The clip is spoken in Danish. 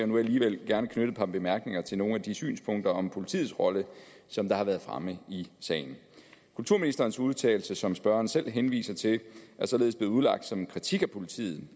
nu alligevel gerne knytte et par bemærkninger til nogle af de synspunkter om politiets rolle som har været fremme i sagen kulturministerens udtalelse som spørgeren selv henviser til er således blevet udlagt som en kritik af politiet